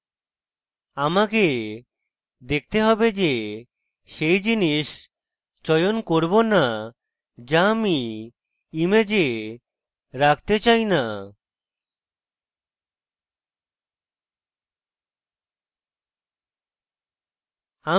আমাকে দেখতে have যে সেই জিনিস চয়ন করব না যা আমি image রাখতে চাই না